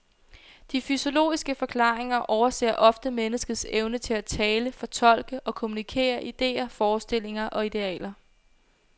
De fysiologiske forklaringer overser ofte menneskets evne til at tale, fortolke og kommunikere ideer, forestillinger og idealer.